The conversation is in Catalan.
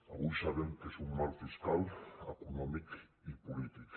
avui sabem que és un mal fiscal econòmic i polític